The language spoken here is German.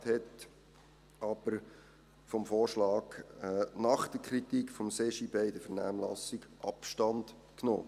Der Regierungsrat hat aber nach der Kritik des CJB in der Vernehmlassung von diesem Vorschlag Abstand genommen.